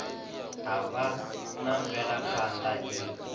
ha vha na mvelaphana i